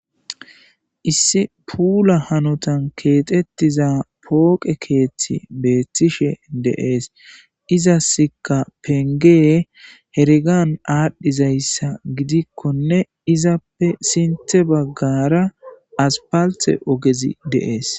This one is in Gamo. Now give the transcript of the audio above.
issi puula hanotan keexettiza pooqe keethti beettishe deees izasika pengee hergan aadhdhizayssa gidikkone izappe sinte baggara aspalthe ogezi deees